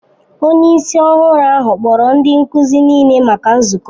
Onye isi ọhụrụ ahụ kpọrọ ndị nkuzi niile maka nzukọ.